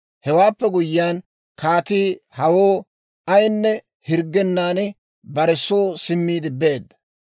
Hewaappe guyyiyaan kaatii hawoo ayinne hirggennan bare soo simmiide beedda.